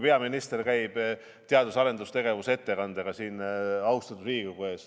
Peaminister ju käib teadus- ja arendustegevuse ettekandega siin austatud Riigikogu ees.